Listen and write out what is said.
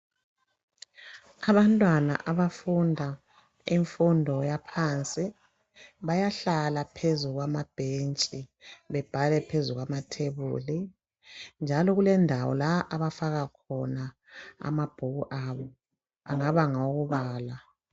Abantwana abafunda imfundo yaphansi bayahlala phezu kwamabhentshi bebhale phezu kwamathebuli. Njalo kulendawo la abafaka khona amabhuku abo angaba ngawokubala.